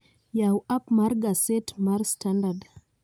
Yaw app mar gaset mar standard